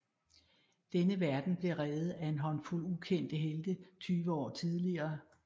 Denne verden blev reddet af en håndfuld ukendte helte tyve år tidligere